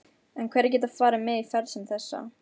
En hverjir geta farið með í ferð sem þessa?